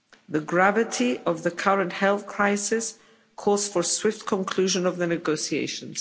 The gravity of the current health crisis calls for swift conclusion of the negotiations.